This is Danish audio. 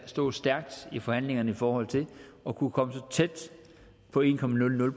stå stærkt i forhandlingerne i forhold til at kunne komme så tæt på en